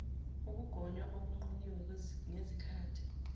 ukugonywa okungqunyiwe ngezikhati